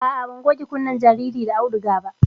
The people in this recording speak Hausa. A'a, ban goge kunnen jaririn da auduga ba